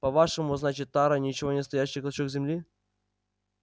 по-вашему значит тара ничего не стоящий клочок земли